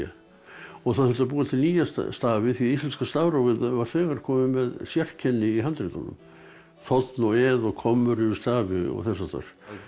og það þurfti að búa til nýja stafi því íslenska stafrófið var þegar komið með sérkenni í handritunum þ og ð og kommur yfir stafi og þess háttar